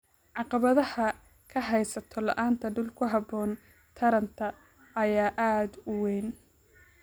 Caqabadaha ka haysta la'aanta dhul ku haboon taranta ayaa aad u weyn.